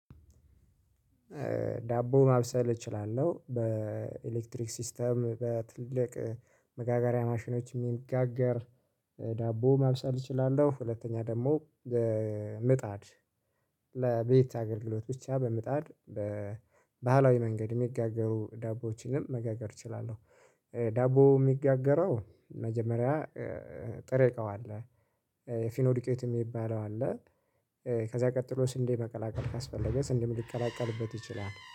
ዳቦውን ማብሰል እችላለሁ በኤሌክትሪክ ሲስተም በትልቅ መጋጋሪያ ማሽኖች የሚጋገር ዳቦ ማብሰል እችላለሁ። ሁለተኛ ደግሞ ምጣድ ለቤት አገልግሎት ብቻ በምጣድ በባህላዊ መንገድ የሚጋገሩ ዳቦዎችንም መጋገር እችላለሁ። ዳቦ የሚጋገረው መጀመሪያ ጥሬ እቃው አለ ፊርኖ ዲቄት የሚባለው አለ። ከዛ ቀጥሎ ስንዴ መቀላቀል ካስፈለገ ስንዴም ሊቀላቀልበት ይችላል